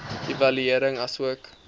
evaluering asook